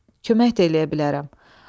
Kömək də eləyə bilərəm.